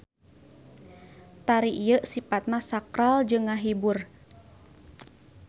Tari ieu sipatna sakral jeung ngahibur.